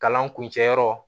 Kalan kuncɛ yɔrɔ